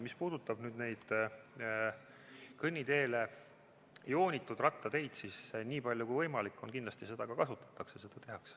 Mis puudutab neid kõnniteele joonitud rattateid, siis nii palju kui võimalik seda kindlasti kasutatakse, seda tehakse.